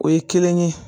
O ye kelen ye